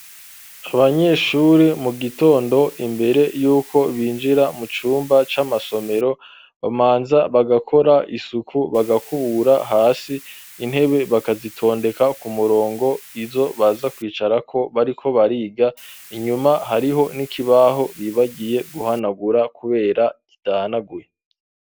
Abanyeshure mu gitondo imbere y'uko binjira mu cumba c'amasomero bamanza bagakora isuku bagakubura hasi intebe bakazitondeka ku murongo izo baza kwicarako bariko bariga inyuma hariho n'ikibaho bibagiye guhanagura kubera gitahanaguye.